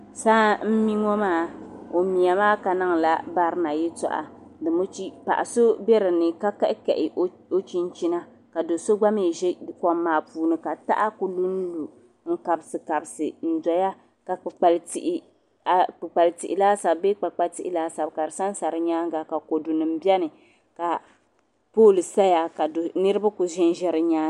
Saa n mi ŋɔ maa o miya maa ka niŋ la barina yɛltɔɣa domichi paɣa so bɛ dini ka kahi kahi o chinchina ka doo so gba mi ʒɛ kɔm maa puuni ka taha ku lu n lu n kabisi kabisi n dɔya ka kpukpali tihi laasabu bee kpakpa tihi laasabu ka di sa n sa di nyaanga ka kodu nim bɛni ka pooli saya ka niriba ku ʒɛ n ʒɛ di nyaanga.